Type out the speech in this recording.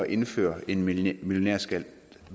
indføre en millionærskat